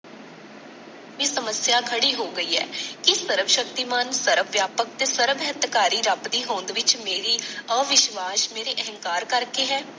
ਇਹ ਸਮੱਸਿਆ ਖੜੀ ਹੋ ਗਈ ਹੈ, ਕਿ ਸਰਵ ਸ਼ਕਤੀਮਾਨ, ਸਰਵ ਵਿਆਪਕ ਤੇ ਸਰਵ ਹਿੱਤਕਾਰੀ ਰੱਬ ਦੀ ਹੋਂਦ ਵਿਚ ਮੇਰੀ ਅਵਿਸ਼ਵਾਸ਼, ਮੇਰੇ ਅਹੰਕਾਰ ਕਰਕੇ ਹੈ।